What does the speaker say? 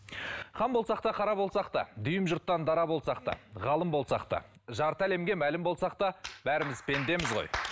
хан болсақ та қара болсақ та дүйім жұрттан дара болсақ та ғалым болсақ та жарты әлемге мәлім болсақ та бәріміз пендеміз ғой